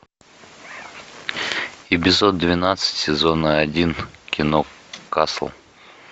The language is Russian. эпизод двенадцать сезона один кино касл